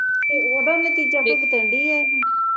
ਤੇ ਓਹਦਾ ਨਤੀਜਾ